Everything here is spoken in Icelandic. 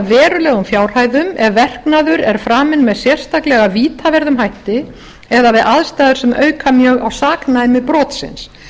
verulegum fjárhæðum ef verknaður er framinn með sérstaklega vítaverðum hætti eða við aðstæður sem auka mjög á saknæmi brotsins